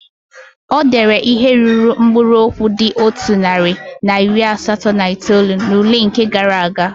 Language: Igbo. O deere ihe ruru mkpụrụ okwu dị otu narị na iri asatọ na itoolu n'ule nke gaara aga?